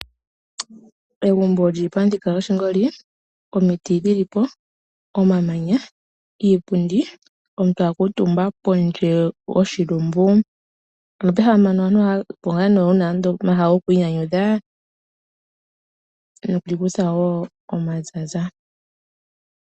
Egumbo lyili pamuthika goshingoli omiti dhilipo, omamanya, iipundi, omuntu akuutumba pondje goshilumbu. Ano pehala mpano opo pehala lyokwiinyanyudha okwiikutha woo omaza.